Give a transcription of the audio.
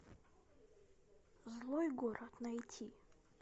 злой город найти